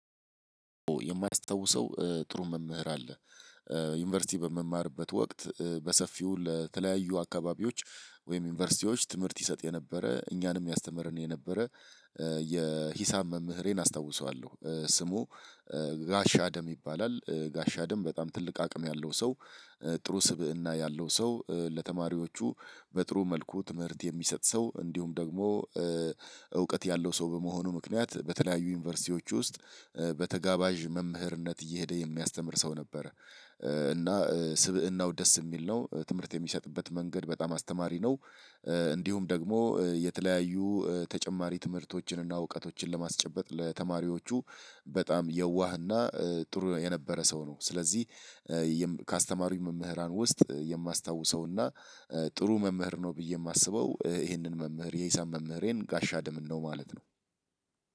የማያስታውሰው ጥሩ መምህር አለ። ዩኒቨርሲቲ በመማርበት ወቅት በሰፊው ለተለያዩ አካባቢዎች ወይም ዩኒቨርሲቲዎች ትምህርት ይሰጥ የነበረ እኛንም ያስተምረን የነበረ። የሂሳብ መምህሬን አስታውሰዋለሁ። ስሙ ጋሻ አደም ይባላል ጋሻ አደም በጣም ትልቅ አቅም ያለው ሰው። ጥሩ ስብእና ያለው ሰው ለተማሪዎቹ በጥሩ መልኩ ትምህርት የሚሰጥ ሰው እንዲሁም ደግሞ እውቀት ያለው ሰው በመሆኑ ምክንያት በተለያዩ ዩኒቨርሲቲዎች ውስጥ በተጋባዥ መምህርነት እየሄደ የሚያስተምር ሰው ነበረ። እና ስብእናው ደስ የሚል ነው ትምህርት የሚሰጥበት መንገድ በጣም አስተማሪ ነው። እንዲሁም ደግሞ የተለያዩ ተጨማሪ ትምህርቶችን እና እውቀቶችን ለማስጨበጥ ለተማሪዎቹ በጣም የዋህና ጥሩ የነበረ ሰው ነው። ስለዚህ ከአስተማሪ መምህራን ውስጥ የማስታውሰውና ጥሩ መምህር ነው ብዬ የማስበው ይሄንን መምህር የሂሳብ መምህሬን ጋሻ አደምን ነው። ማለት ነው።